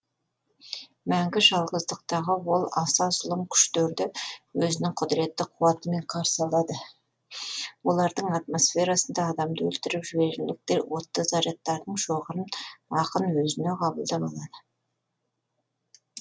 мәңгі жалғыздықтағы ол аса зұлым күштерді өзінің құдыретті қуатымен қарсы алады олардың атомосферасында адамды өлтіріп жіберерліктей отты зарядтардың шоғырын ақын өзіне қабылдап алады